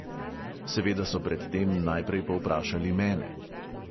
Seveda so pred tem najprej povprašali mene.